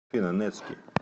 афина нетски